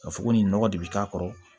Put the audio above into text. Ka fɔ ko nin nɔgɔ de bi k'a kɔrɔ